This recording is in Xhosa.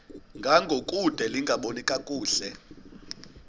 ngangokude lingaboni kakuhle